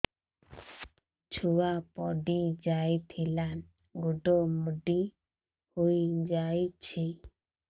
ଛୁଆ ପଡିଯାଇଥିଲା ଗୋଡ ମୋଡ଼ି ହୋଇଯାଇଛି